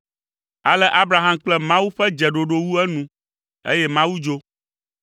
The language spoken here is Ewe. Ale Abraham kple Mawu ƒe dzeɖoɖo wu enu, eye Mawu dzo.